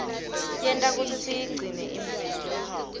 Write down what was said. yenta kutsi siyigcine imvelo